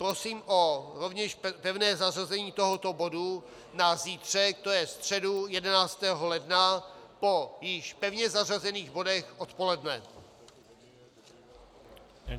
Prosím rovněž o pevné zařazení tohoto bodu na zítřek, to je středu 11. ledna, po již pevně zařazených bodech odpoledne.